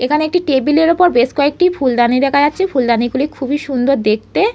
এখানে একটি টেবিলের ওপর বেশ কয়েকটি ফুলদানি দেখা যাচ্ছে। ফুলদানি গুলি খুবই সুন্দর দেখতে-এ।